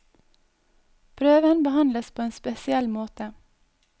Prøven behandles på en spesiell måte.